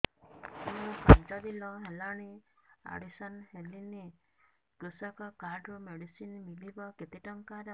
ମୁ ପାଞ୍ଚ ଦିନ ହେଲାଣି ଆଡ୍ମିଶନ ହେଲିଣି କୃଷକ କାର୍ଡ ରୁ ମେଡିସିନ ମିଳିବ କେତେ ଟଙ୍କାର